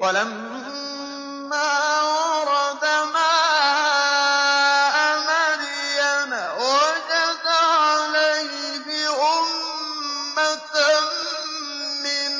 وَلَمَّا وَرَدَ مَاءَ مَدْيَنَ وَجَدَ عَلَيْهِ أُمَّةً مِّنَ